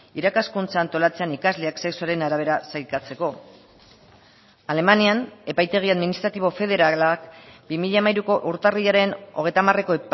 irakaskuntza antolatzean ikasleak sexuaren arabera sailkatzeko alemanian epaitegi administratibo federalak bi mila hamairuko urtarrilaren hogeita hamareko